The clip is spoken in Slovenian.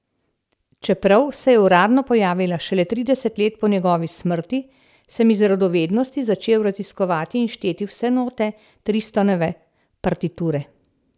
Čeprav se je uradno pojavila šele trideset let po njegovi smrti, sem iz radovednosti začel raziskovati in šteti vse note Tristanove partiture.